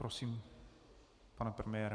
Prosím pana premiéra.